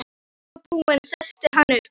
Þegar hann var búinn settist hann upp.